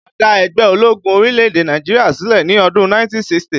A dá ẹgbẹ́ ológun orílẹ̀-èdè Nàìjíríà sílẹ̀ ní ọdún 1960